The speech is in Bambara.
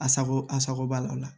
A sago a sago b'a la